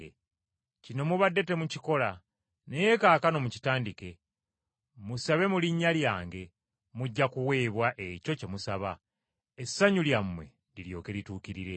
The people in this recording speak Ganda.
Kino mubadde temukikola, naye kaakano mukitandike. Musabe mu linnya lyange, mujja kuweebwa ekyo kye musaba, essanyu lyammwe liryoke lituukirire.